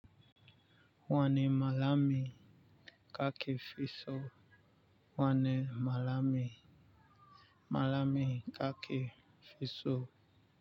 Wani malami kake fisu. Wani malam malam ka ke fisu.